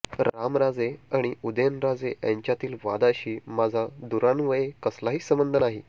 रामराजे आणि उदयनराजे यांच्यातील वादाशी माझा दूरान्वये कसलाही संबध नाही